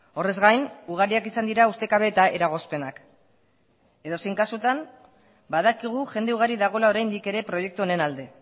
horrez gain ugariak izan dira ustekabe eta eragozpenak edozein kasutan badakigu jende ugari dagoela oraindik ere proiektu honen alde